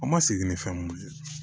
An ma segin ni fɛn mun ye